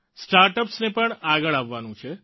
startups ને પણ આગળ આવવાનું છે